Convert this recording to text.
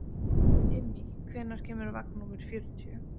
Immý, hvenær kemur vagn númer fjörutíu?